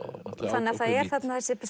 þannig að það er þessi